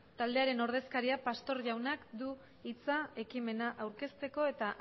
taldearen ordezkariak pastor jaunak du hitza ekimena aurkezteko eta